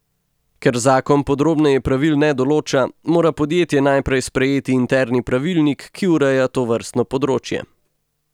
Ker zakon podrobneje pravil ne določa, mora podjetje najprej sprejeti interni pravilnik, ki ureja tovrstno področje.